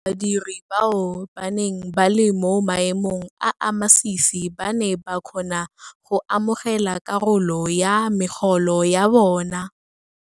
Badiri bao ba neng ba le mo maemong a a masisi ba ne ba kgona go amogela karolo ya megolo ya bona.